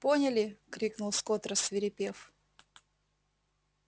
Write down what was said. поняли крикнул скотт рассвирепев